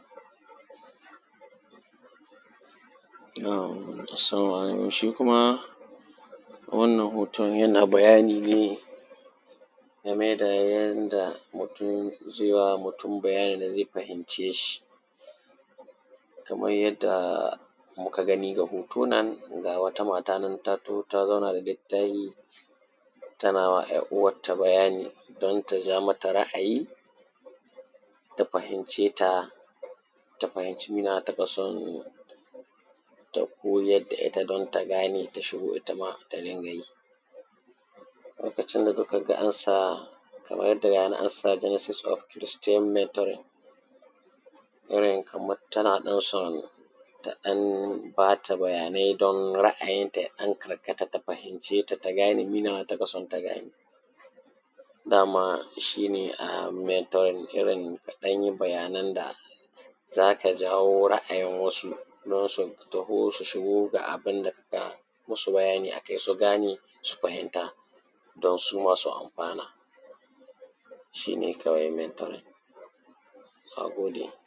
salamu alaikum shi kuma wannan hoton yana bayani ne game da yanda mutum zai wa mutum bayanin da zai fahimce shi kaman yanda muka gani ga hoto nan ga wata mata nan ta taho ta zauna da littahi tana yi wa ‘yar uwarta bayani don ta ja mata ra’ayi ta fahimce ta ta fahimci mina taka son ta koyar da ita don ta gane ta shigo ita ma ta dinga yi lokacin da duk ka ga an sa kamar da rana an sa genesis of christian mentoring irin kamar tana ɗan son ta ɗan ba ta bayanai don ra’ayinta ya ɗan karkata ta fahimce ta ta gane mina na taka son ta gane da ma shi ne mentoring irin ka ɗan yi bayanan da za ka jawo ra’ayin wasu don su taho su shigo ga abin da kaka yi musu bayani a kai su gane su fahimta don su ma su amfana shi ne kawai mentoring na gode